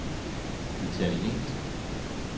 italiensk